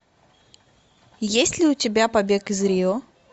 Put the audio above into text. есть ли у тебя побег из рио